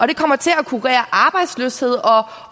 det kommer til at kurere arbejdsløshed